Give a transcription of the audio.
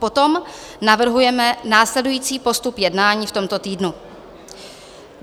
Potom navrhujeme následující postup jednání v tomto týdnu: